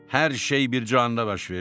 Hər şey bir canda baş verdi.